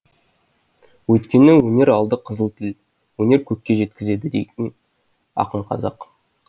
өйткені өнер алды қызыл тіл өнер көкке жеткізеді дейді ақын қазақ